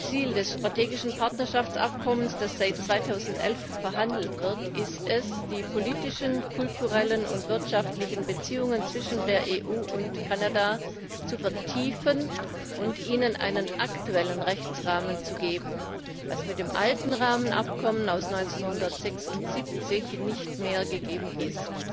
Ziel des strategischen Partnerschaftsabkommens, das seit 2011 verhandelt wird, ist es, die politischen, kulturellen und wirtschaftlichen Beziehungen zwischen der EU und Kanada zu vertiefen und ihnen einen aktuellen Rechtsrahmen zu geben, was mit dem alten Rahmenabkommen aus dem Jahr 1976 nicht mehr gegeben ist.